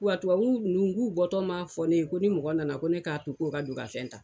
Wa tubabu nunnu k'u bɔtɔ ma fɔ ne ye, ko ni mɔgɔ nana ko ne k'a to k'o ka don ka fɛn ta.